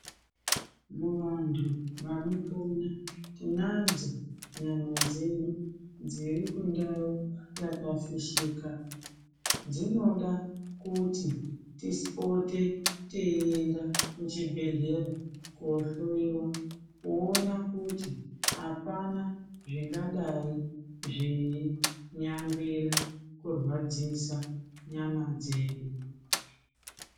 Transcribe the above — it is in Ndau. Muvantu vanopona tinadzo nyama dzedu dziri kundau yakafishika. Dzinoda kuti tipote teyienda kuchibhedhlera koohloyiwa woona kuti apana zvingadai zveinyangwira kurwadzisa nyama dzedu.